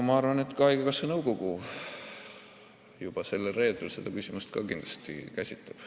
Ma arvan, et ka haigekassa nõukogu juba sellel reedel seda küsimust kindlasti käsitleb.